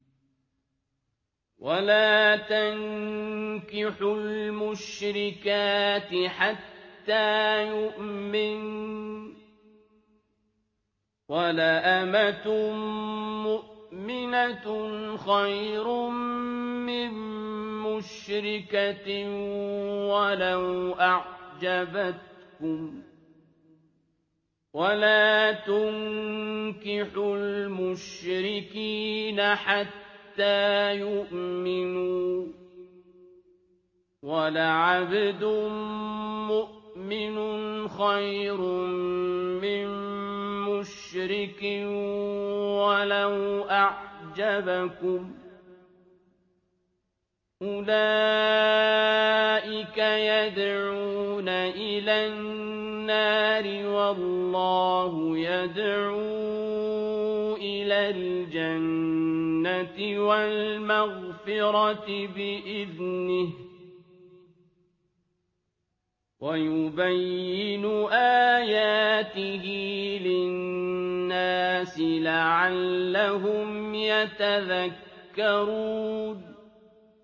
وَلَا تَنكِحُوا الْمُشْرِكَاتِ حَتَّىٰ يُؤْمِنَّ ۚ وَلَأَمَةٌ مُّؤْمِنَةٌ خَيْرٌ مِّن مُّشْرِكَةٍ وَلَوْ أَعْجَبَتْكُمْ ۗ وَلَا تُنكِحُوا الْمُشْرِكِينَ حَتَّىٰ يُؤْمِنُوا ۚ وَلَعَبْدٌ مُّؤْمِنٌ خَيْرٌ مِّن مُّشْرِكٍ وَلَوْ أَعْجَبَكُمْ ۗ أُولَٰئِكَ يَدْعُونَ إِلَى النَّارِ ۖ وَاللَّهُ يَدْعُو إِلَى الْجَنَّةِ وَالْمَغْفِرَةِ بِإِذْنِهِ ۖ وَيُبَيِّنُ آيَاتِهِ لِلنَّاسِ لَعَلَّهُمْ يَتَذَكَّرُونَ